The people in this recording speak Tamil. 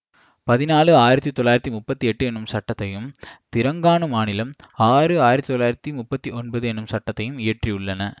பதினாலு ஆயிரத்தி தொள்ளாயிரத்தி முப்பத்தி எட்டு எனும் சட்டத்தையும் திரங்கானு மாநிலம் ஆறு ஆயிரத்தி தொள்ளாயிரத்தி முப்பத்தி ஒன்பது எனும் சட்டத்தையும் இயற்றியுள்ளன